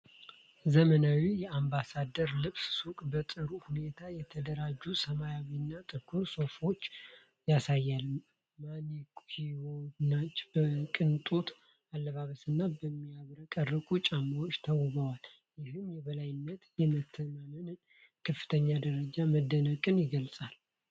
ዘመናዊ የአምባሳደር ልብስ ሱቅ በጥሩ ሁኔታ የተደራጁ ሰማያዊና ጥቁር ሱፎችን ያሳያል። ማኒኩዊኖች በቅንጦት አለባበስና በሚያብረቀርቁ ጫማዎች ተውበዋል፤ ይህም የበላይነትን፣ የመተማመንንና የከፍተኛ ደረጃ መደነቅን ይገልጻል።